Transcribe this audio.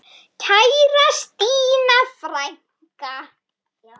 Kæra Stína frænka.